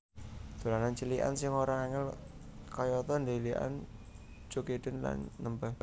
Dolanan cilikan sing ora angel kayata dhelikan jogedan lan nembang